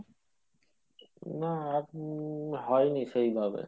না আর উম হয় নি সেই ভাবে।